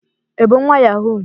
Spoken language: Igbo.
i bu nwa yahoo?